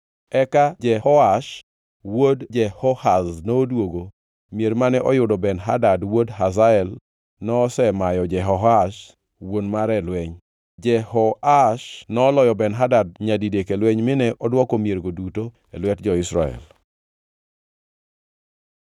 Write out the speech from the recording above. Eka Jehoash wuod Jehoahaz noduogo mier mane oyudo Ben-Hadad wuod Hazael nosemayo Jehoahaz wuon mare e lweny. Jehoash noloyo Ben-Hadad nyadidek e lweny mine odwoko miergo duto e lwet jo-Israel.